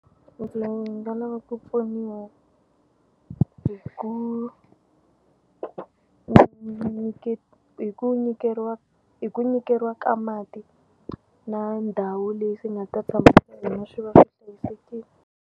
Ndzi nga lava ku pfuniwa hi ku hi ku hi ku nyikeriwa ka mati na ndhawu leyi swi nga ta swi va swi hlayisekile.